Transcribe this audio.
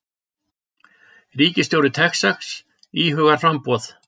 Ríkisstjóri Texas íhugar framboð